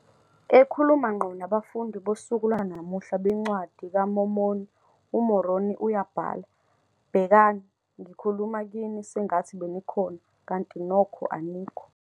Ekhuluma ngqo nabafundi bosuku lwanamuhla beNcwadi kaMormoni, uMoroni uyabhala, "Bhekani, ngikhuluma kini sengathi benikhona, kanti nokho anikho.